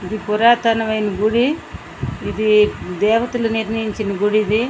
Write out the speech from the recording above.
ఇది పురాతనం ఆయన గుడి ఇది దేవతల్లు నిరించిన గుడి ఇది.